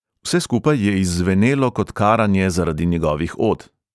Vse skupaj je izzvenelo kot karanje zaradi njegovih od.